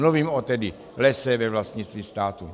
Mluvím tedy o lese ve vlastnictví státu.